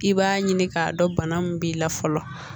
I b'a ɲini k'a dɔn bana min b'i la fɔlɔ